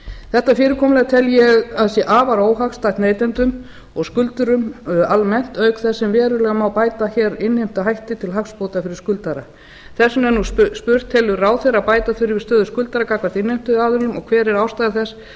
þetta fyrirkomulag tel ég að sé afar óhagstætt neytendum og skuldurum almennt auk þess sem verulega má bæta innheimtuhætti til hagsbóta fyrir skuldara þess vegna er nú spurt telur ráðherra að bæta þurfi stöðu skuldara gagnvart innheimtuaðilum og hver er ástæða þess að